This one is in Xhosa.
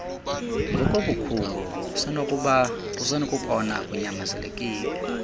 ngokobukhulu usenokubona kunyanzelekile